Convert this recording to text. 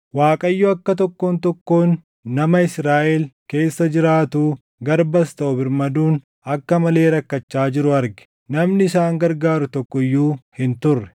Waaqayyo akka tokkoon tokkoon nama Israaʼel keessa jiraatuu, garbas taʼu birmaduun akka malee rakkachaa jiru arge; namni isaan gargaaru tokko iyyuu hin turre.